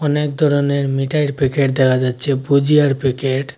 অনেক ধরনের মিঠাইর প্যাকেট দেখা যাচ্ছে ভুজিয়ার প্যাকেট ।